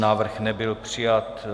Návrh nebyl přijat.